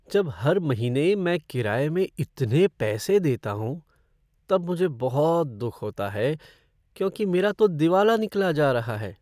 जब हर महीने मैं किराए में इतने पैसे देता हूँ तब मुझे बहुत दुख होता है क्योंकि मेरा तो दिवाला निकला जा रहा है।